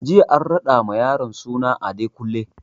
Jiya an raɗa ma yaron suna Adekunle